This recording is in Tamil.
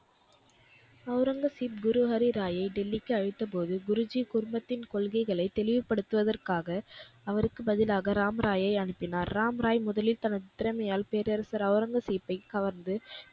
ஒளரங்கசீப் குரு ஹரிராயை டெல்லிக்கு அழைத்தபோது, குருஜி குருமத்தின் கொள்கைகளை தெளிவுபடுத்துவதற்காக அவருக்கு பதிலாக ராம்ராயை அனுப்பினார். ராம்ராய் முதலில் தனது திறமையால் பேரரசர் ஒளரங்கசீப்பைக் கவர்ந்து,